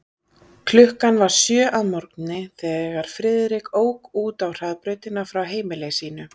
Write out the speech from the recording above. Klukkan var sjö að morgni, þegar Friðrik ók út á hraðbrautina frá heimili sínu.